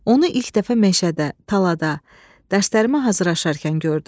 Onu ilk dəfə meşədə, talada, dərslərimə hazırlaşarkən gördüm.